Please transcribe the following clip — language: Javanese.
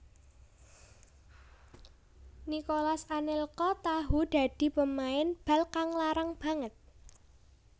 Nicolas Anelka tahu dadi pemain bal kang larang banget